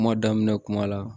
Kuma daminɛ kuma la